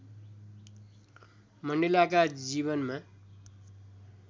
मण्डेलाका जीवनमा